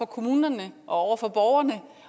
kommunerne og over for borgerne